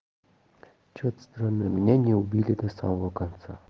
что-то странное меня не убили до самого конца